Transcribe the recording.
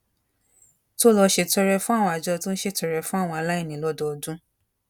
tó lọ ṣètọrẹ fún àwọn àjọ tó ń ṣètọrẹ fún àwọn aláìní lódọọdún